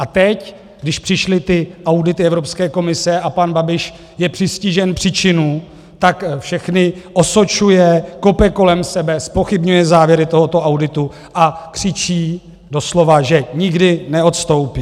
A teď, když přišly ty audity Evropské komise a pan Babiš je přistižen při činu, tak všechny osočuje, kope kolem sebe, zpochybňuje závěry tohoto auditu a křičí doslova, že nikdy neodstoupí.